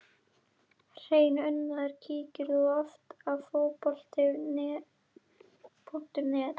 Hreinn unaður Kíkir þú oft á Fótbolti.net?